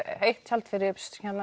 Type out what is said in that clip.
eitt tjald fyrir